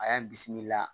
A y'an bisimila